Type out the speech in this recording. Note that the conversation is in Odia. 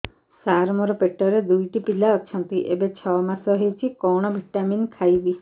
ସାର ମୋର ପେଟରେ ଦୁଇଟି ପିଲା ଅଛନ୍ତି ଏବେ ଛଅ ମାସ ହେଇଛି କଣ ଭିଟାମିନ ଖାଇବି